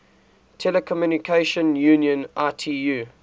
telecommunication union itu